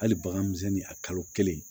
Hali bagan misɛnnin a kalo kelen